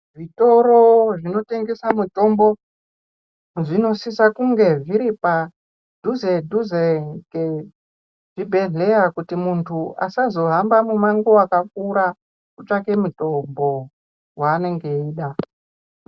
Zvitoro zvinotengesa mitombo zvinosise kunge zviri padhuzedhuze ngezvibhehleya kuti munhu asazohambe mumango waakakura kutsvake mutombo waanenge eida.